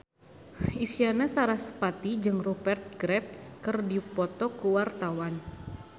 Isyana Sarasvati jeung Rupert Graves keur dipoto ku wartawan